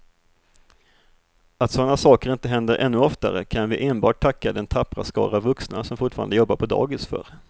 Att sådana saker inte händer ännu oftare kan vi enbart tacka den tappra skara vuxna som fortfarande jobbar på dagis för.